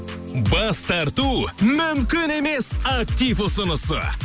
бас тарту мүмкін емес актив ұсынысы